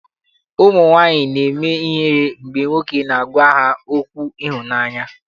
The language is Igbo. Ụmụnwaanyị na-eme ihere mgbe nwoke na-agwa ha okwu ịhụnaanya.